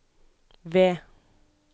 V